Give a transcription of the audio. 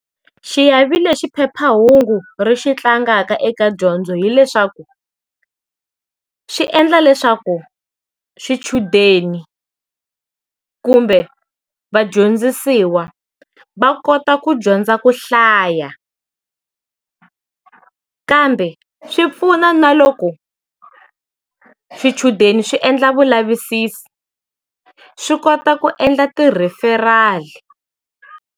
Xiave lexi phephahungu ri xi tlangaka eka dyondzo hileswaku, xi endla leswaku swichudeni, kumbe vadyondzisiwa, va kota ku dyondza ku hlaya, kambe swi pfuna na loko swichudeni swi endla vulavisisi, swi kota ku endla ti referal-i.